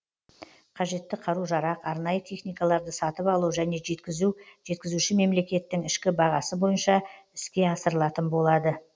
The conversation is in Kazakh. қажетті қару жарақ арнайы техникаларды сатып алу және жеткізу жеткізуші мемлекеттің ішкі бағасы бойынша іске асырылатын болады